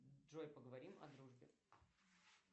джой поговорим о дружбе